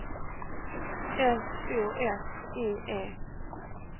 S O F I E